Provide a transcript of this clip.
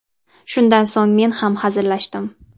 Shundan so‘ng men ham hazillashdim.